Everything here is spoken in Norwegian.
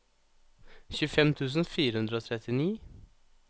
tjuefem tusen fire hundre og trettini